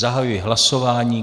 Zahajuji hlasování.